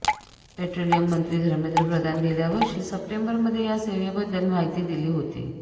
petroleum मंत्री धर्मेंद्र प्रधान गेल्या वर्षी सप्टेंबरमध्ये या सेवेबद्दल माहिती दिली होती